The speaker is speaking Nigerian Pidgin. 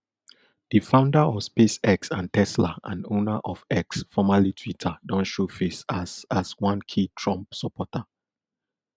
di founder of spacex and tesla and owner of x formerly twitter don show face as as one key trump supporter